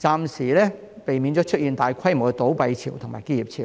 暫時避免出現大規模的倒閉潮和結業潮。